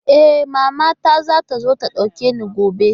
E, mamata za ta zo ta ɗauke ni gobe.